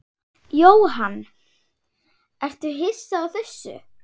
Jóhann: Ertu hissa á þessu?